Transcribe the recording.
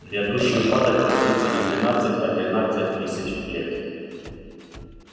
грядущий упадок продлится не двенадцать а тринадцать тысяч лет